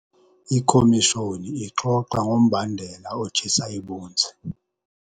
Ikhomishoni ixoxa ngombandela otshisa ibunzi.